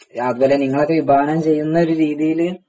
അതുപോലെ നിങ്ങളൊക്കെ വിഭാവനം ചെയ്യുന്ന ഒരു രീതിയിൽ